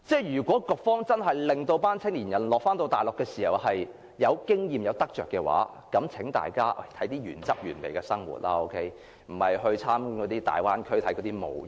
如果局方想讓青年人在大陸獲取經驗和有所得着，便讓他們體驗原汁原味的生活，而並非只是參觀粵港澳大灣區等的模型。